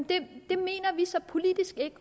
det mener vi så politisk ikke